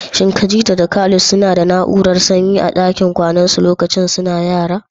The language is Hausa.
Shin Khadija da Khalid suna da na'urar sanyi a dakin kwanansu lokacin suna yara?